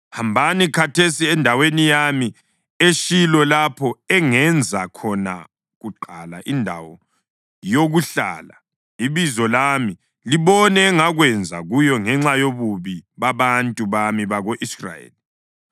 Hambani khathesi endaweni yami eShilo lapho engenza khona kuqala indawo yokuhlala iBizo lami, libone engakwenza kuyo ngenxa yobubi babantu bami bako-Israyeli.